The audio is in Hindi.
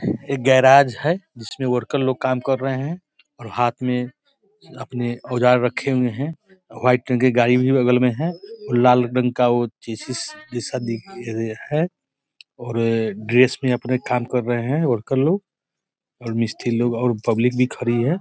एक गैरज है जिसमे वर्कर लोग काम कर रहे हैं और हाथ में आपने औजार रखे हुए हैं व्हाइट कलर की गाड़ी भी बगल में है और लाल रंग का वो जैसा दिख रहा है और ड्रेस पे अपना काम कर रहे हैं वर्कर लोग और मिस्त्री लोग और पब्लिक भी खड़ी है।